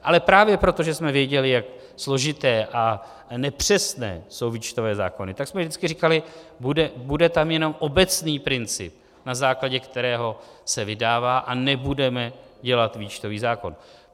Ale právě proto, že jsme věděli, jak složité a nepřesné jsou výčtové zákony, tak jsme vždycky říkali: bude tam jenom obecný princip, na základě kterého se vydává, a nebudeme dělat výčtový zákon.